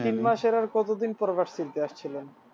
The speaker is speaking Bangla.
তিন মাসের আর কতদিন পর